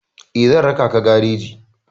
Eh, zan raka ka gareji.